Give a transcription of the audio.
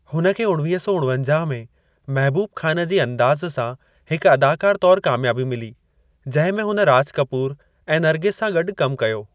हुन खे उणवीह सौ उणवंजाह में महबूब खान जी 'अंदाज़' सां हिक अदाकार तौर कामयाबी मिली, जंहिं में हुन राज कपूर ऐं नरगिस सां गॾु कमु कयो।